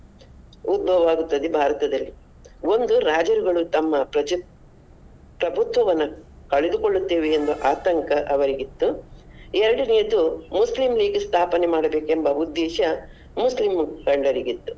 ಉದ್ಭವ ಆಗುತ್ತದೆ ಭಾರತದಲ್ಲಿ ಒಂದು ರಾಜರುಗಳು ತಮ್ಮ ಪ್ರಜಾಪ್ರಭುತ್ವವನ್ನು ಕಳೆದುಕೊಳ್ಳುತ್ತೇವೆ ಎಂದು ಆತಂಕ ಅವರಿಗಿತ್ತು. ಎರಡನೆಯದ್ದು Muslim League ಸ್ಥಾಪನೆ ಮಾಡಬೇಕೆಂಬ ಉದ್ದೇಶ ಮುಸ್ಲಿಂ ಮುಖಂಡರಿಗಿತ್ತು .